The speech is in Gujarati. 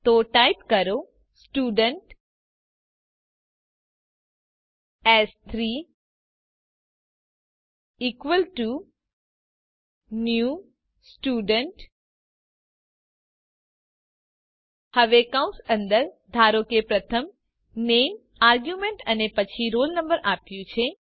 તો ટાઇપ કરો સ્ટુડન્ટ s3 ન્યૂ Student હવે કૌસ અંદર ધારો કે મેં પ્રથમ નામે આરગ્યુમેન્ટ અને પછી રોલ નંબર આપ્યું છે